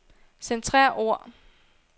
Centrer ord.